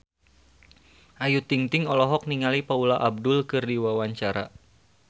Ayu Ting-ting olohok ningali Paula Abdul keur diwawancara